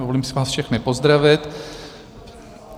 Dovolím si vás všechny pozdravit.